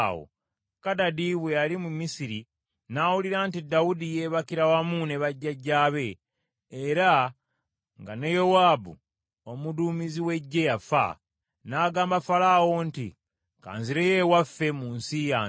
Kadadi bwe yali mu Misiri, n’awulira nti Dawudi yeebakira wamu ne bajjajjaabe era nga ne Yowaabu omuduumizi w’eggye yafa, n’agamba Falaawo nti, “Ka nzireyo ewaffe mu nsi yange.”